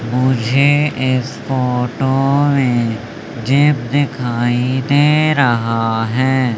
मुझे इस फोटो में जिम दिखाई दे रहा है।